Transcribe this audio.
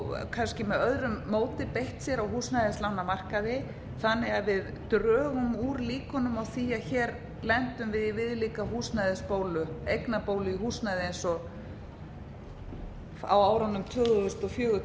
og kannski með öðru móti beitt sér á húsnæðislánamarkaði þannig að við dörgum úr líkunum á því að hér lendum við í viðlíka húsnæðisbólu eignabólu í húsnæði og á árunum tvö þúsund og fjögur til